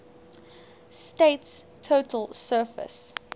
state's total surface